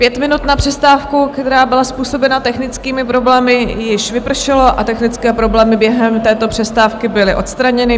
Pět minut na přestávku, která byla způsobena technickými problémy, již vypršelo a technické problémy během této přestávky byly odstraněny.